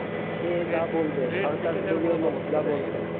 সে যা বলবে সরকার